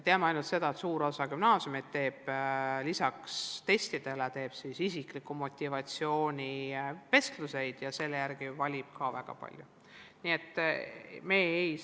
Teame ainult seda, et suur osa gümnaasiume teeb lisaks testidele ka isikliku motivatsiooni vestlusi ja valib paljuski selle järgi.